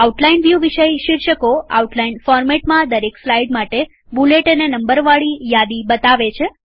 outline view વિષય શીર્ષકોઆઉટલાઈન ફોરમેટમાં દરેક સ્લાઈડ માટે બુલેટ અને નંબરવાલી યાદી બતાવે છે